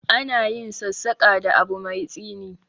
Ana yin sassaƙa da abu mai tsini.